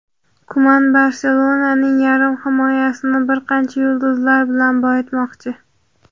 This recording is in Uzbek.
Kuman "Barselona"ning yarim himoyasini bir qancha yulduzlar bilan boyitmoqchi.